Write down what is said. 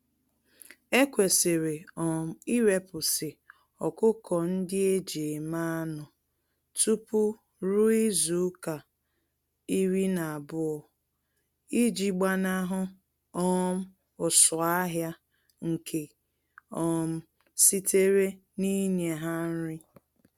Ekwesịrị um irepụsị ọkụkọ-ndị-eji-eme-anụ tupu ruo izuka iri na-abụọ iji gbanahụ um ụsụ-ahịa nke um sitere ninye ha nri.